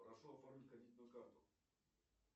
прошу оформить кредитную карту